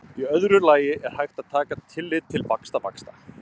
í öðru lagi er hægt að taka tillit til vaxtavaxta